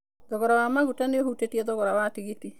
Thogora wa maguta nĩ ũhutĩtie thogora wa tigiti.